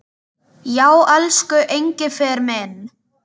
Já, elsku Engifer minn.